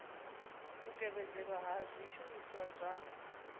u tevhedzelwa ha zwishumiswa zwa